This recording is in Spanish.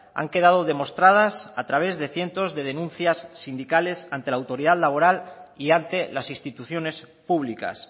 han quedado demostradas a través de cientos de denuncias sindicales ante la autoridad laboral y ante las instituciones públicas